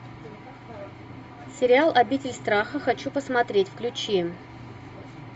сериал обитель страха хочу посмотреть включи